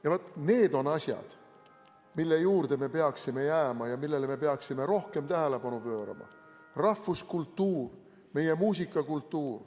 Ja vaat need on asjad, mille juurde me peaksime jääma ja millele me peaksime rohkem tähelepanu pöörama: rahvuskultuur, meie muusikakultuur.